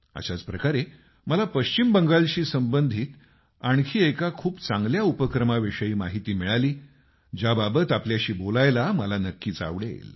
अशाच प्रकारे मला पश्चिम बंगालशी संबंधित आणखी एका खूपच चांगल्या उपक्रमाविषयी माहिती मिळाली ज्याबाबत तुमच्याशी बोलायला मला नक्कीच आवडेल